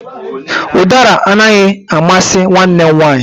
Udara anaghị amasị nwanne m nwanyị